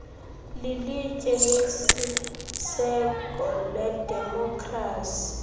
lilitye lesiseko ledemokhrasi